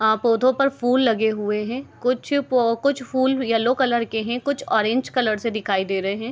आ पौधो पर फूल लगे हुए हैं कुछ फूल येलो कलर के हैं कुछ ऑरेंज कलर से दिखाई दे रहे हैं।